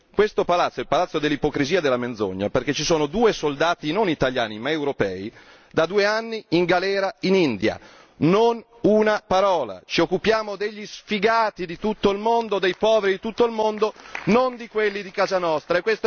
Questo è il palazzo dell'ipocrisia e della menzogna perché ci sono due soldati, non italiani, ma europei da due anni in galera in India non una parola sul tema. Ci occupiamo degli sfigati di tutto il mondo, dei poveri di tutto il mondo non di quelli di casa nostra.